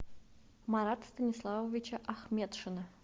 марата станиславовича ахметшина